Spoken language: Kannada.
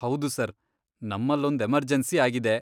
ಹೌದು ಸರ್, ನಮ್ಮಲ್ಲೊಂದ್ ಎಮರ್ಜೆನ್ಸಿ ಆಗಿದೆ.